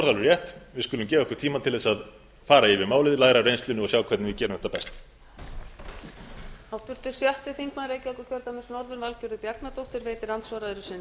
rétt við skulum gefa okkur tíma til þess að fara yfir málið læra af reynslunni og sjá hvernig við gerum þetta best